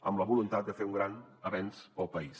amb la voluntat de fer un gran avenç per al país